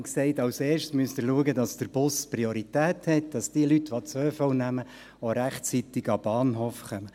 Als erstes müssen Sie schauen, dass der Bus Priorität hat, dass die Leute, die den ÖV nehmen, auch rechtzeitig an den Bahnhof kommen.